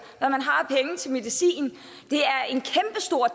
og til medicin